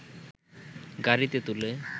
গাড়ীতে তুলে